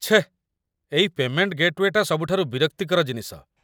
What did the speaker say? ଛେଃ, ଏଇ ପେମେଣ୍ଟ ଗେଟ୍‌ୱେଟା ସବୁଠାରୁ ବିରକ୍ତିକର ଜିନିଷ